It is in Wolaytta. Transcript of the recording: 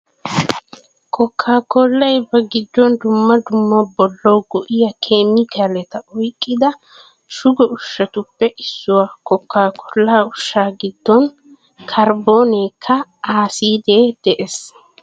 Kookkaa koollay ba giddon dumma dumma bollawu go'iya keemikaaleta oyqqida shugo ushshatuppe issuwaa. Kookkaa koollaa ushshaa giddon karbboonike aasiidee de"ees.